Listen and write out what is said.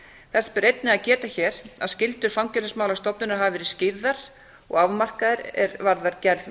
þess ber einnig að geta hér að skyldur fangelsismálastofnunar hafa verið skýrðar og afmarkaðar er varðar gerð